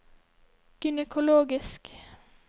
gynekologisk